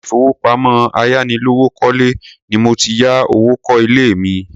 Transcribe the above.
Ilé ìfowópamọ́ ayánilówókọ́lẹ́ ni mo ti ya owó kó ilé mi.